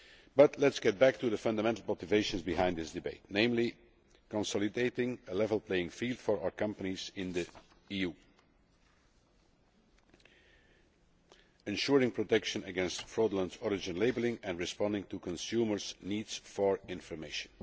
But let us get back to the fundamental motivations behind this debate, namely consolidating a level playing field for our companies in the EU ensuring protection against fraudulent origin labelling and responding to consumers' needs for information.